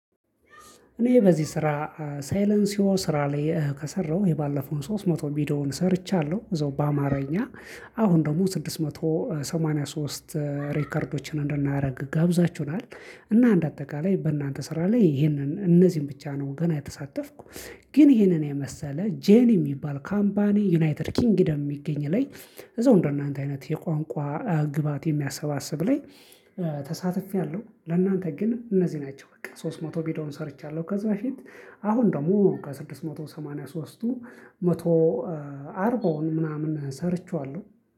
እኔ በዚህ ስራ ሳይለንሲዮ ስራ ላይ ከሰራው የባለፈውን ሶስት መቶ ቪዲዮውን ሰርቻለሁ እዛው በአማርኛ አሁን ደግሞ ስድስት መቶ ሰማንያ ሶስት ሪከርዶችን እንድናደርግ ጋብዛችሁናል። እና አንጀ አጠቃላይ በእናንተ ስራ ላይ ይሄንን እነዚህን ብቻ ነው ገና የተሳተፍኩ። ግን ይሄንን የመሰለ ጄን የሚባል ካምፓኒ ዩናይትድ ኪንግደም የሚገኝ ላይ። እዛው እንደናንተ አይነት የቋንቋ ግባት የሚያሰባስብ ላይ ተሳትፌያለሁ። ለእናንተ ግን እነዚህ ናቸው በቃ ሶስት መቶ ቪዲዮን ሰርቻለሁ ከዚህ በፊት። አሁን ደግሞ ከስድስት መቶ ሰማንያ ሶስቱ መቶ አርባውን ምናምን ሰርቼዋለሁ።